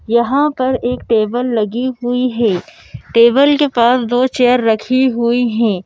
यहाँ पर एक टेबल लगी हुई है टेबल के पास दो चेयर रखी हुई हैं।